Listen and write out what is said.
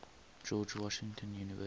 george washington university